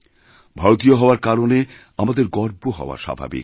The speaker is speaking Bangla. ভারতীয় হওয়ারকারণে আমাদের গর্ব হওয়া স্বাভাবিক